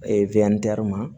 ma